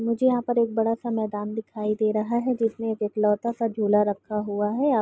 मुझे यहाँ पर एक बड़ा सा मैंदान दिखाई दे रहा है जिसमे एक एकलौता सा झुला रखा हुआ है या प।